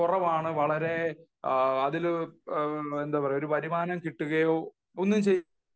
വളരെ അതിൽ ഒരു വരുമാനം കിട്ടുകയോ ഒന്നും ചെയ്യില്ല